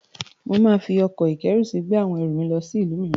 Màá fi ọkọ̀-ìkẹ́rùsí gbé àwọn erù mi lọ sí ìlú mìíràn